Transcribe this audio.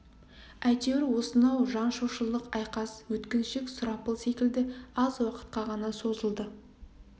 әйтеуір осынау жан шошырлық айқас өткіншек сұрапыл секілді аз уақытқа ғана созылды